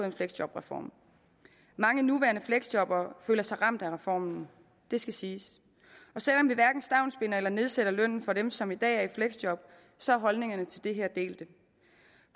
en fleksjobreform mange nuværende fleksjobbere føler sig ramt af reformen det skal siges og selv om vi hverken stavnsbinder eller nedsætter lønnen for dem som i dag er i fleksjob så er holdningerne til det her delte